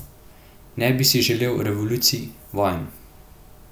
Ne bi si želel revolucij, vojn.